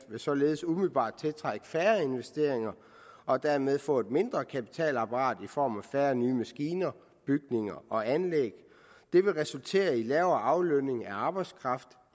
vil således umiddelbart tiltrække færre investeringer og dermed få et mindre kapitalapparat i form af færre nye maskiner bygninger og anlæg det vil resultere i en lavere aflønning af arbejdskraften